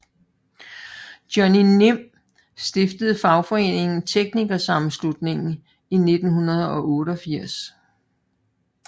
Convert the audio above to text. Johnny Nim stiftede fagforeningen TeknikerSammenslutningen i 1988